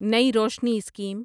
نئی روشنی اسکیم